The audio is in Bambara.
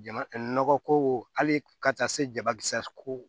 Jama nɔgɔ ko hali ka taa se jabakisɛ ko